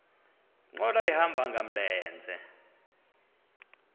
nkqwala ehamba ngamlenze